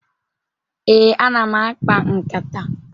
Ee, ana m akpa nkata.